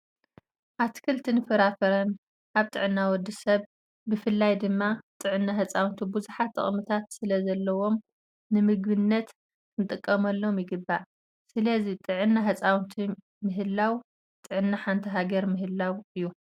ኣትክልትን ፍራፍረን ኣብ ጥዕና ወዲ ሰብ ብፍላይ ድማ ኣብ ጥዕና ህፃውንቲ ብዙሓት ጥቅምታት ስለዘለም ንምግብነት ክንጥቀመሎም ይግባእ። ስለዚ ጥዕና ህፃውንቲ ምህላው ጥዕና ሓንቲ ሃገር ምህላው እዩ።